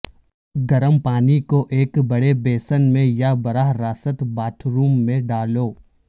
گرم پانی کو ایک بڑے بیسن میں یا براہ راست باتھ روم میں ڈالو